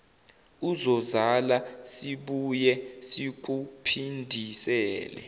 uzozala sibuye sikuphindisele